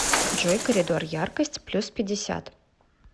джой коридор яркость плюс пятьдесят